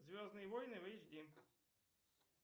звездные войны в эйч ди